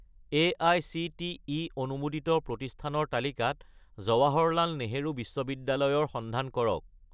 AICTE অনুমোদিত প্ৰতিষ্ঠানৰ তালিকাত জৱাহৰলাল নেহৰু বিশ্ববিদ্যালয় ৰ সন্ধান কৰক